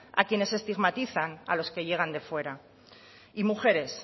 a quienes estigmatizan a los que llegan de fuera y mujeres